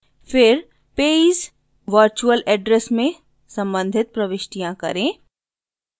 फिर payees virtual address में सम्बंधित प्रविष्टियाँ करें